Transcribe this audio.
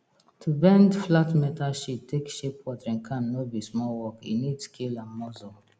to bend flat metal sheet take shape watering can no be small work e need skill and muscle